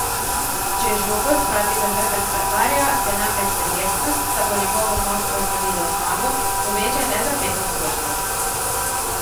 Če žogo spravi za hrbet vratarja, se namreč verjetnost, da bo njegovo moštvo slavilo zmago, poveča le za pet odstotkov.